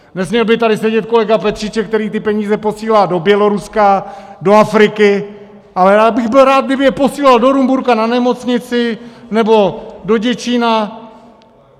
Nesměl by tady sedět kolega Petříček, který ty peníze posílá do Běloruska, do Afriky, ale já bych byl rád, kdyby je posílal do Rumburka na nemocnici nebo do Děčína!